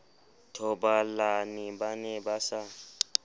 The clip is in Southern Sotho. thobalane ba ne ba sa